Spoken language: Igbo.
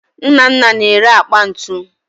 Nnanna na-ere akpa ntu